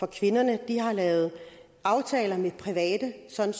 kvinderne de har lavet aftaler med private sådan